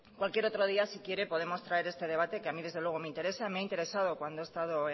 cualquier otro día si quiere podemos traer este debate que a mí desde luego me interesa me he interesado cuando he estado